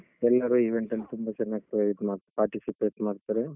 ಎಲ್ಲರೂ event ಅಲ್ಲ್ ತುಂಬಾ ಚೆನ್ನಾಗಿ ಇದ್ ಮಾಡ್ತಾರೆ participate ಮಾಡ್ತಾರೆ.